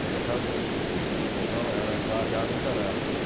Na minha casa, o fo o o o fogão era já gás encanado.